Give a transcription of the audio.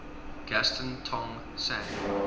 gaston tong sang